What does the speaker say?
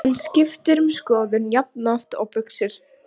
Svo er dóttirin hérna í lauginni.